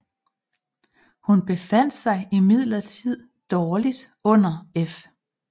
Hun befandt sig imidlertid dårligt under F